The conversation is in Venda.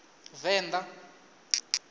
venḓa